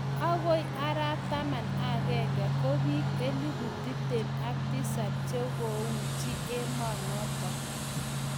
Akoi araap taman ak akenge ko biik elpu tiptem ak tisab che kouchi emoo notok